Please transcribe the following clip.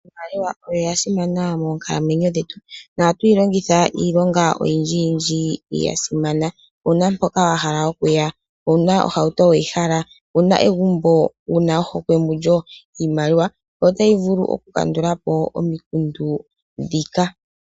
Iimaliwa oyasimana monkalamwenyo dhetu nohatu yilongitha iilonga oyindji yindji yasimana. Wuna mpoka wahala okuya, wuna ohauto weyihala, wuna egumbo wuna ohokwe mulyo. Iimaliwa otayi vulu okukandulapo omikundu ndhika.